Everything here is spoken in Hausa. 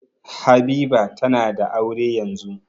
Habiba tana da aure yanzun.